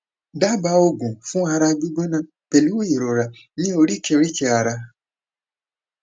daba oogun fun ara gbigbona pelu irora ni orikerike ara